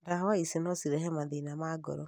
ndawa icio no cirehe mathina ma ngoro